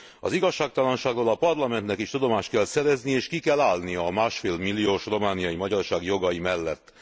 Az igazságtalanságról a Parlamentnek is tudomást kell szereznie, és ki kell állnia a másfél milliós romániai magyarság jogai mellett.